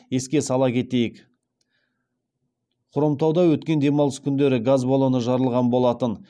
еске сала кетейік хромтауда өткен демалыс күндері газ баллоны жарылған болатын